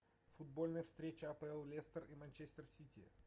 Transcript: футбольная встреча апл лестер и манчестер сити